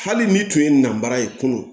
Hali n'i tun ye nansara ye kunun